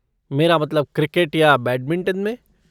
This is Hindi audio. मेरा मतलब क्रिकेट या बैडमिंटन में।